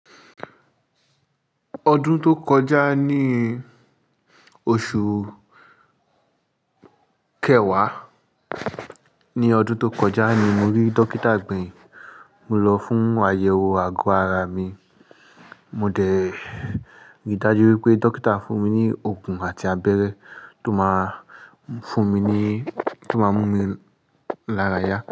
Ọdún tó kọjá ní oṣù kẹwàá, nínu ọdún tó kọjá ni mo rí Dókítà gbeyin. Mo lọ fún àyẹ̀wò àgọ́ ara mi. Mo dẹ̀ rí i dájú wípé Dókítà fún mi ní òògùn àti abẹ́rẹ́ tó máa fún mi ní, tó máa mú mi lára yá.